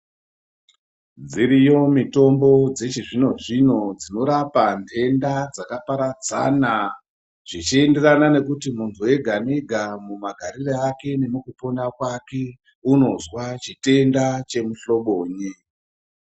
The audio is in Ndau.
Dziriyo mutombo dzechizvino zvino dzinorapa nhenda dzakaparadzana zvichienderana nekuti muntu wega wega mumagariro ake nemukupona mwake unozwa chitenda chemuhlobonyi.